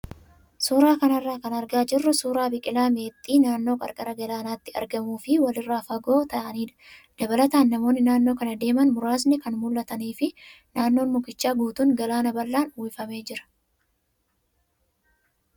Suuraa kanarraa kan argaa jirru suuraa biqilaa meexxii naannoo qarqara galaanaatti argamuu fi walirraa fagoo ta'anidha. Dabalataan namoonni naannoo kana deeman muraasni kan mul'atanii fi naannoon mukichaa guutuun galaana bal'aan uwwifamee jira.